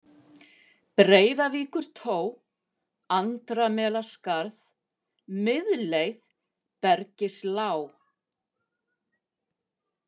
Breiðavíkurtó, Andramelaskarð, Miðleið, Bergislág